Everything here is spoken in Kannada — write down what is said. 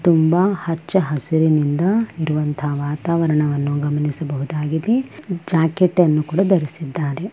ತುಂಬಾ ಹಚ್ಚ ಹಸಿರಿನಿಂದ ಇರುವಂತಹ ವಾತಾವರಣವನ್ನು ಗಮನಿಸಬಹುದಾಗಿದೆ ಜಾಕೆಟ್ ಅನ್ನು ಕೂಡ ಧರಿಸಿದ್ದಾರೆ.